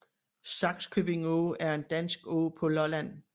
Sakskøbing Å er en dansk å på Lolland